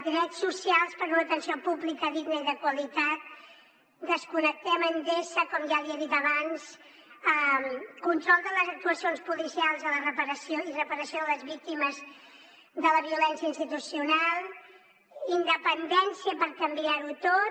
drets socials per a una atenció pública digna i de qualitat desconnectem d’endesa com ja li he dit abans control de les actuacions policials i reparació de les víctimes de la violència institucional independència per canviar ho tot